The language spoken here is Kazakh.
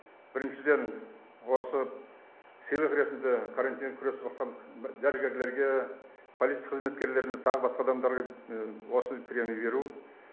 бірнішіден осы сыйлық ретінде карантин күресіп атқан дәрігерлерге полиция қызметкерлеріне тағы басқа адамдарға осы премия беру